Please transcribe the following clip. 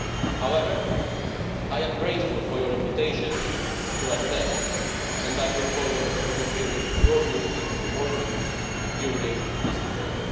However, I am grateful for your invitation to attend and I look forward to hearing your views or more views during this debate.